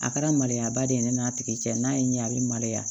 A kɛra maloya ba de ye ne n'a tigi cɛ n'a ye n ɲɛ a bɛ maloya